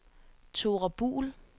Thora Buhl